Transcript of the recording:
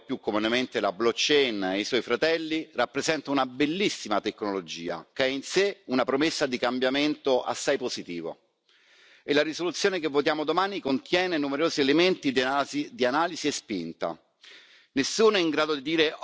Il registro distribuito, ovvero più comunemente la blockchain e i suoi fratelli, rappresenta una bellissima tecnologia, che ha in sé una promessa di cambiamento assai positivo e la risoluzione che votiamo domani contiene numerosi elementi di analisi e di spinta.